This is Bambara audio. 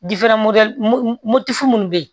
munnu bɛ yen